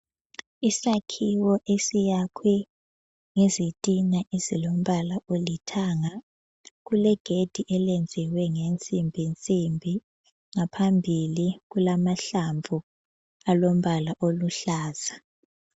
Isakhiwo esiyakhwe ngezitina ezilombala olithanga. Kulegedi eliyenziwe nge nsimbi nsimbi, ngaphambili kulamahlamvu alombala oluhlaza.